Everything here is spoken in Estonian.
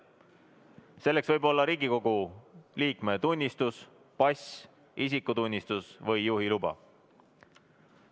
Selleks võib olla Riigikogu liikme tunnistus, pass, isikutunnistus või juhiluba.